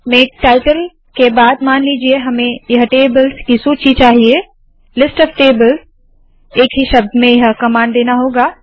make title के बाद मान लीजिए हमें यह टेबल्स की सूची चाहिए - लिस्टॉफ्टेबल्स एक ही शब्द में यह कमांड देना होगा